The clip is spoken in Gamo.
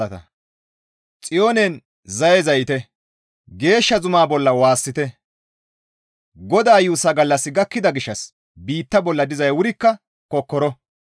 Xiyoonen zaye zayite; geeshsha zuma bolla waassite! GODAA yuussa gallassi gakkida gishshas biitta bolla dizay wurikka kokkoro.